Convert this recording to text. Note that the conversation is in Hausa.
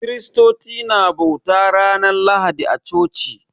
Kiristoci na bauta ranar Lahadi a coci